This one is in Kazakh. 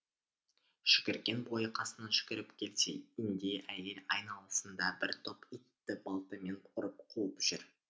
жүгірген бойы қасына жүгіріп келсе индей әйел айналасында бір топ итті балтамен ұрып қуып жүр